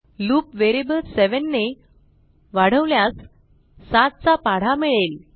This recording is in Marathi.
लूप व्हेरिएबल 7 ने वाढवल्यास 7 चा पाढा मिळेल